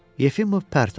Yefimov pərt olur.